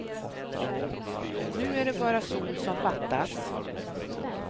Nu är det bara sol som fattas.